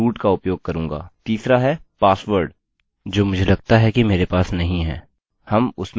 तीसरा है password जो मुझे लगता है कि मेरे पास नहीं है हम उस में चेक करेंगे